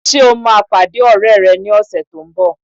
Ṣé ò máa pàdé ọ̀rẹ́ rẹ ní ọ̀sẹ̀ tó n bọ̀?